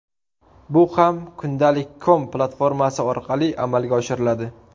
Bu ham ‘kundalik.com’ platformasi orqali amalga oshiriladi.